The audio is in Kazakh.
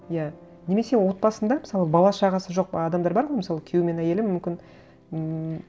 иә немесе отбасында мысалы бала шағасы жоқ адамдар бар ғой мысалы күйеуі мен әйелі мүмкін ммм